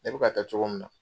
E bika ka taa cogo min na.